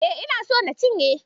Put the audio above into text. E, ina so na cinye.